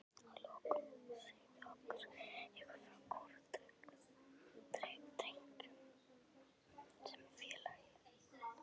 Að lokum segðu okkur aðeins frá Kórdrengjum sem félagi?